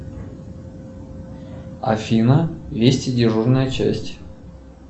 афина вести дежурная часть